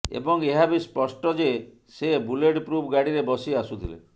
ଏବଂ ଏହା ବି ସ୍ପଷ୍ଟ ଯେ ସେ ବୁଲେଟପ୍ରୁଫ ଗାଡ଼ିରେ ବସି ଆସୁଥିଲେ